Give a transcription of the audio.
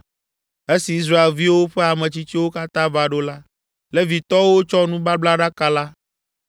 Esi Israelviwo ƒe ametsitsiwo katã va ɖo la, Levitɔwo tsɔ nubablaɖaka la,